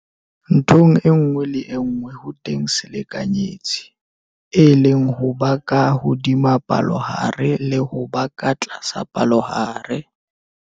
Nthong e nngwe le enngwe ho teng selekanyetsi, e leng go ba ka hodima palohare le ho na ka tlasa palohare.